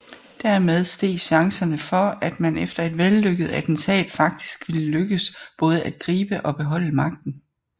Dermed steg chancerne for at man efter et vellykket attentat faktisk ville lykkes både at gribe og beholde magten